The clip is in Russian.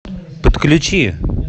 подключи